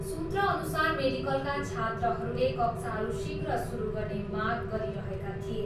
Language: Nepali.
सुत्रअनुसार मेडिकलका छात्रहरूले कक्षाहरू शीघ्र सुरु गर्ने माग गरिरहेका थिए।